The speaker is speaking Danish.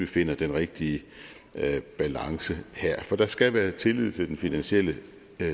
finder den rigtige balance for der skal være tillid til den finansielle